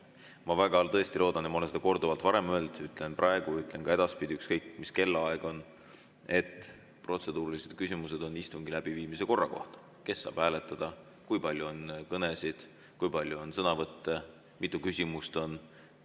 Ma väga loodan, ma olen seda korduvalt varem öelnud, ütlen praegu, ütlen ka edaspidi, ükskõik mis kellaaeg on: protseduurilised küsimused on istungi läbiviimise korra kohta, selle kohta, kes saab hääletada, kui palju on kõnesid, kui palju on sõnavõtte, mitu küsimust on.